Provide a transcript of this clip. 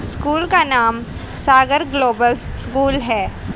School का नाम Sagar global school है।